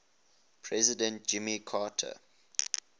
president jimmy carter